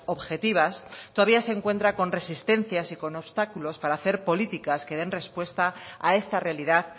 objetivas todavía se encuentran con resistencias y con obstáculos para hacer políticas que den respuesta a esta realidad